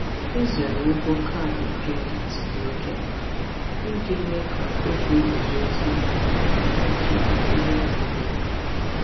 Ịzere ụgwọ kaadị kredit dị oké mkpa iji mee ka ego guzozie ma na-echekwa ego na-eto eto.